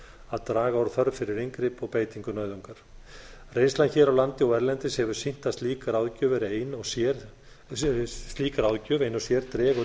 að draga úr þörf fyrir inngrip og beitingu nauðungar reynslan hér á landi og erlendis hefur sýnt að slík ráðgjöf ein og sér dregur